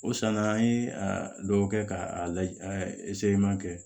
O sanna an ye a dɔw kɛ k'a lajɛ kɛ